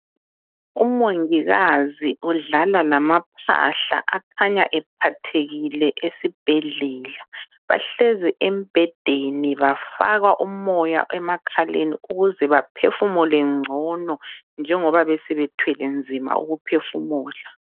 Umongikazi udlala lamaphahla akhanya ephathekile esibhedlela. Bahlezi embhedeni bafakwa umoya emakhaleni ukuze baphefumule ngcono njengoba besebethwele nzima ukuphefumula.